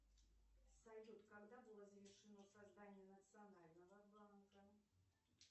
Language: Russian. салют когда было завершено создание национального банка